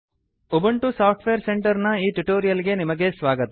Ubuntu software centre ನ ಈ tutorial ಗೆ ನಿಮಗೆ ಸ್ವಾಗತ